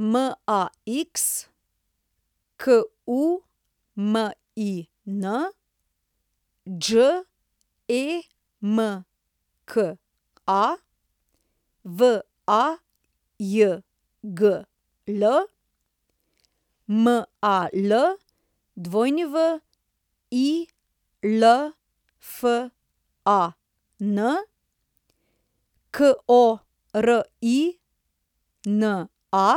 Max Kumin, Đemka Vajgl, Mal Wilfan, Korina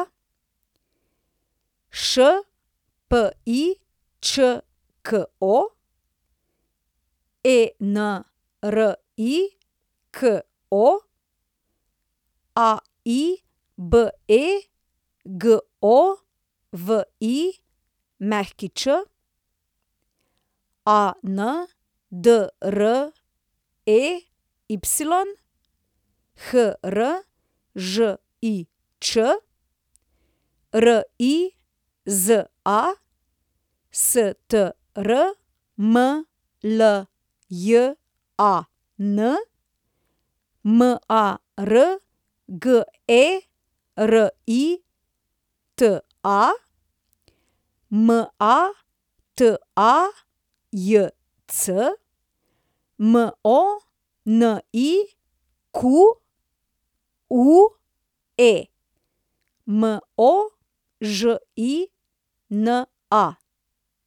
Špičko, Enriko Alibegović, Andrey Hržič, Riza Strmljan, Margerita Matajc, Monique Možina.